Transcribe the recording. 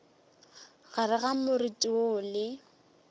gare ga moriti woo le